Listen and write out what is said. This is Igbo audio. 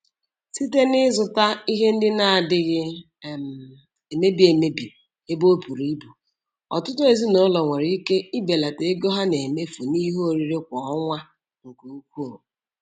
Site n'ịzụta ihe ndị na-adịghị um emebi emebi ebe o bùrù ibù, ọtụtụ ezinụlọ nwere ike ibelata ego ha na-emefu n'ihe oriri kwa ọnwa nke ukwuu.